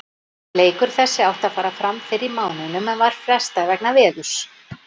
Leikur þessi átti að fara fram fyrr í mánuðinum en var frestað vegna veðurs.